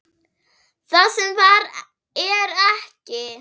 Það sem var er ekki.